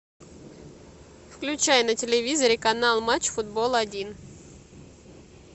включай на телевизоре канал матч футбол один